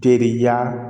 Teriya